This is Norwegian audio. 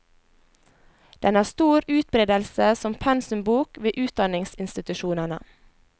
Den har stor utbredelse som pensumbok ved utdanningsinstitusjonene.